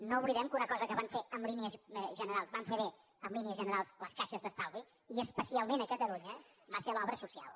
no oblidem que una cosa que en línies generals van fer bé en línies generals les caixes d’estalvi i especialment a catalunya va ser l’obra social